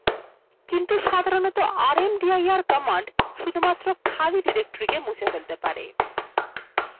কিন্তু সাধারণত rmdir command শুধুমাত্র খালি directoryকে মুছে ফেলতে পারে